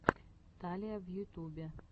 талия в ютубе